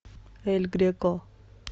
эль греко